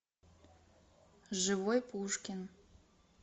живой пушкин